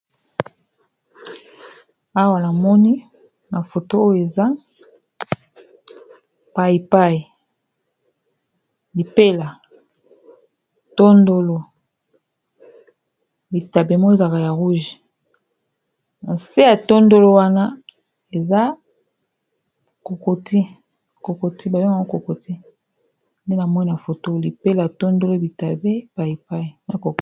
Awa namoni na foto oyo eza paipaiipeatonolo bitapemo ezaka ya rouge nase ya tondolo wana eakokoti bayonga kokoti nde namoni na foto lipela tondolo bitaepipai